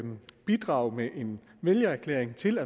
bidrage med en vælgererklæring til